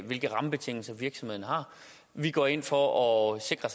hvilke rammebetingelser virksomheder har vi går ind for at sikre